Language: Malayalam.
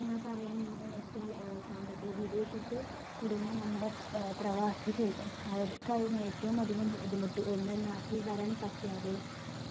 ആഹ് പറയാൻ എന്നുവെച്ചാൽ ആഹ് സാമ്പത്തിക വിദേശത്ത് കുടുങ്ങിയ നമ്മടെ അഹ് പ്രവാസികൾ അവർക്കായിരുന്നു ഏറ്റവും അധികം ബുദ്ധിമുട്ട്. ഒന്ന് നാട്ടിൽ വരാൻ പറ്റാതെ